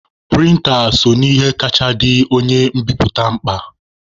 Prịnta so n'ihe kacha dị onye mbiputa mkpa.